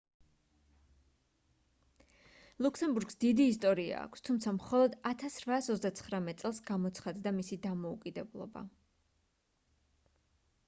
ლუქსემბურგს დიდი ისტორია აქვს თუმცა მხოლოდ 1839 წელს გამოცხადდა მისი დამოუკიდებლობა